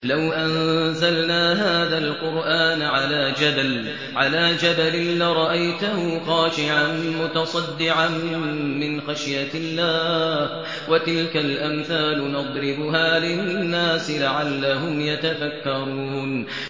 لَوْ أَنزَلْنَا هَٰذَا الْقُرْآنَ عَلَىٰ جَبَلٍ لَّرَأَيْتَهُ خَاشِعًا مُّتَصَدِّعًا مِّنْ خَشْيَةِ اللَّهِ ۚ وَتِلْكَ الْأَمْثَالُ نَضْرِبُهَا لِلنَّاسِ لَعَلَّهُمْ يَتَفَكَّرُونَ